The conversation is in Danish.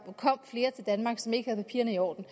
kom flere som ikke havde papirerne i orden